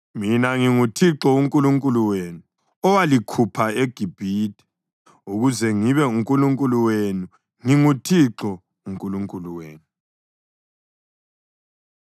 Mina nginguThixo uNkulunkulu wenu, owalikhupha eGibhithe ukuze ngibe nguNkulunkulu wenu. NginguThixo uNkulunkulu wenu.’ ”